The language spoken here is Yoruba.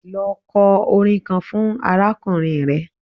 Lọ kọ orin kan fún arákùnrin rẹ!